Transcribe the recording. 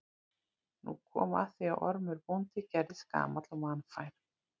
Nú kom að því að Ormur bóndi gerðist gamall og vanfær.